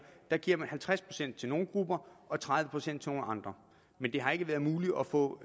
man giver halvtreds procent til nogle grupper og tredive procent til nogle andre men det har ikke været muligt at få